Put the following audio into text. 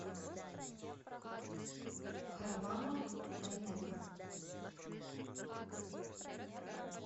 харламов дайнеко